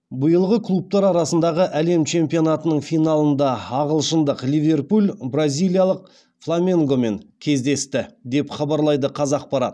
биылғы клубтар арасындағы әлем чемпионатының финалында ағылшындық ливерпуль бразилиялық фламенгомен кездесті деп хабарлайды қазақпарат